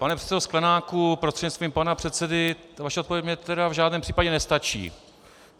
Pane předsedo Sklenáku prostřednictvím pana předsedy, vaše odpověď mně tedy v žádném případě nestačí.